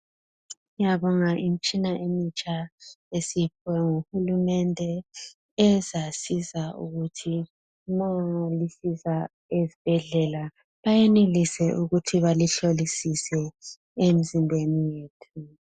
Siyabonga imitshina emitsha esiyiphiwe nguhulumende ezasiza ukuthi malisiza ezibhedlela bayenelise ukuthi balihlolisise emzimbeni yethu.